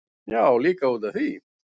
Já, líka út af því.